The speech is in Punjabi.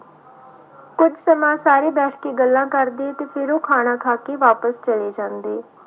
ਕੁਛ ਸਮਾਂ ਸਾਰੇ ਬੈਠ ਕੇ ਗੱਲਾਂ ਕਰਦੇ ਤੇ ਫਿਰ ਉਹ ਖਾਣਾ ਖਾ ਕੇ ਵਾਪਿਸ ਚਲੇ ਜਾਂਦੇ।